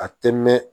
A tɛ mɛn